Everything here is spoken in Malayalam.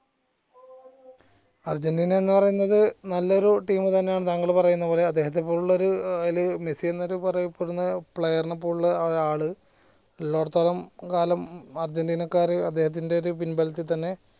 അര്ജന്റീന എന്ന പറയുന്നത് നല്ലൊരു team തന്നെയാണ് താങ്കൾ പറയുന്നേ പോലെ അദ്ദേഹത്തെ പോലുള്ളൊരു ഏർ അയിൽ മെസ്സി എന്നൊരു പറയപ്പെടുന്ന player നെ പോലുള്ള ആള് ഇള്ളോടത്തോളം കാലം അര്ജന്റീനക്കാർ അദ്ദേഹത്തിന്റെ ഒരു പിൻബലത്തിൽ തന്നെ